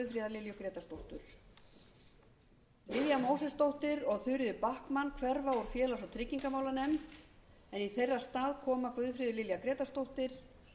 mósesdóttir og þuríður backman hverfa úr félags og tryggingamálanefnd en í þeirra stað koma guðfríður lilja grétarsdóttir